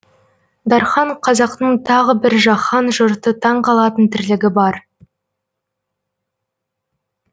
дархан қазақтың тағы бір жаһан жұрты таң қалатын тірлігі бар